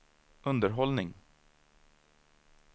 underhållning